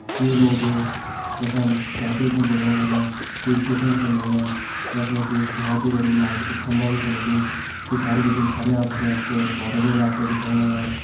कुई लोग यखम साइकिल छन चलोण लग्यां कुई सीखण चन लग्यां। यख मजी एक बोहोत ही बड़ु लाइट को खम्भा भी छ लग्युं। पिछाड़ी बटिन हरियां भरियां पेड़ पौधा भी होला आपते दिखेण लग्यां।